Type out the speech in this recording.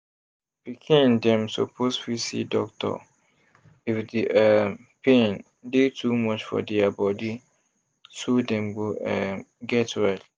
pikin dem suppose fit see doctor if the um pain dey too much for dia body so dem go um get well